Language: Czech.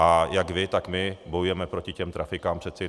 A jak vy, tak my bojujeme proti těm trafikám, přeci.